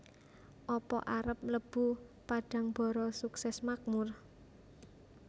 Apa arep mlebu Padangbara Sukses Makmur?